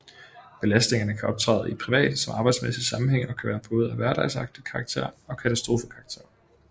Belastningerne kan optræde i privat som arbejdsmæssig sammenhæng og kan være af både hverdagsagtig karakter og katastrofekarakter